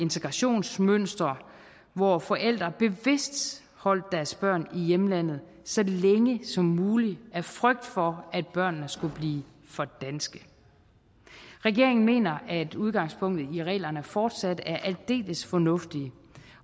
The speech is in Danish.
integrationsmønster hvor forældre bevidst holdt deres børn i hjemlandet så længe som muligt af frygt for at børnene skulle blive for danske regeringen mener at udgangspunktet i reglerne fortsat er aldeles fornuftige